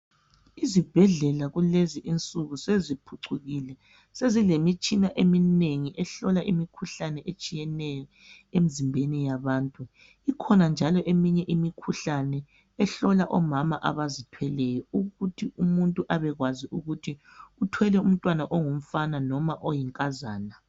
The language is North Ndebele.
Izibhedlela kulezi insuku seziphucukile sezilemitshina eminengi ehlola imikhuhlane etshiyeneyo emizimbeni yabantu ikhona njalo eminye imikhuhlane ehlola omama abazithweleyo ukuthi umuntu abekwazi ukuthi uthwele umntwana ongumfana noma oyinkazana.